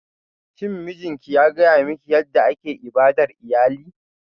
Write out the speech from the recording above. Shin mijinki ya gaya miki yadda ake ibadar iyali?